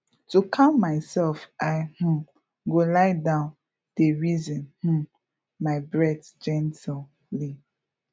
to calm myself i um go lie down dey reason um my breath gently